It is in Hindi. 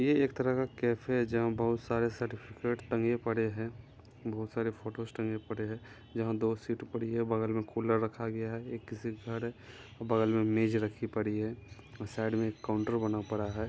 ये एक तरह का कैफे है जहाँ बहुत सारे सर्टिफ़िकेट टंगे पड़े हैं बहुत सारे फोटोज टंगे पड़े हैं जहा दो सीट पड़ी है बगल में कूलर रखा गया है ये किसी का घर है बगल में मेज़ रखी पड़ी है आ साइड में एक काउंटर बना पड़ा है।